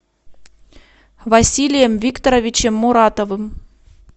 василием викторовичем муратовым